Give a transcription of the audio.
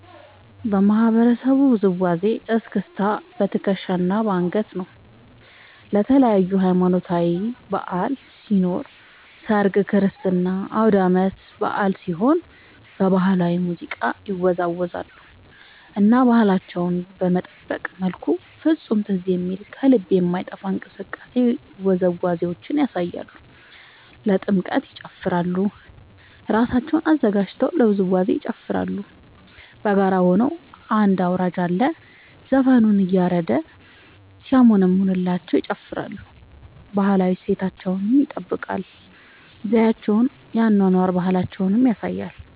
የማህበረሰቡ ውዝዋዜ እስክስታ በትከሻ እና በአንገት ነው። ለተለያዪ ሀማኖታዊ በዐል ሲኖር ሰርግ ክርስትና አውዳመት በአል ሲሆን በባህላዊ ሙዚቃ ይወዛወዛሉ እና ባህላቸውን በጠበቀ መልኩ ፍፁም ትዝ በሚል ከልብ በማይጠፍ እንቅስቃሴ ውዝዋዜያቸውን ያሳያሉ። ለጥምቀት ይጨፉራሉ እራሳቸውን አዘጋጅተው ለውዝዋዜ ይጨፋራሉ በጋራ ሆነው አንድ አውራጅ አለ ዘፈኑን እያረደ ሲያሞነምንላቸው ይጨፍራሉ። ባህላዊ እሴታቸውን ይጠብቃል ዘዪቸውን የአኗኗር ባህላቸውን ያሳያሉ።